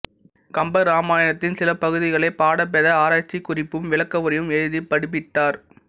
கம்பராமாயணத்தின் சிலபகுதிகளைப் பாடபேத ஆராய்ச்சிக் குறிப்பும் விளக்கவுரையும் எழுதி பதிப்பித்தார்